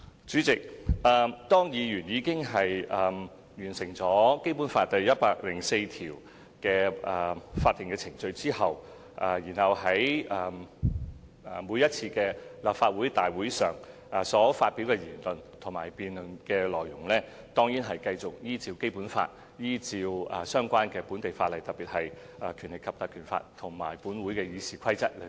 主席，如果議員已完成了《基本法》第一百零四條的法定程序，他們其後在每一次立法會大會上所發表的言論，以及在辯論中提出的論點，當然繼續受《基本法》及相關的本地法例，特別是《立法會條例》及《議事規則》規管。